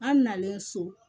An nalen so